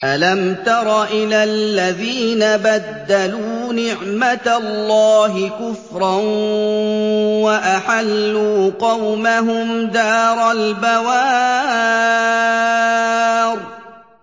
۞ أَلَمْ تَرَ إِلَى الَّذِينَ بَدَّلُوا نِعْمَتَ اللَّهِ كُفْرًا وَأَحَلُّوا قَوْمَهُمْ دَارَ الْبَوَارِ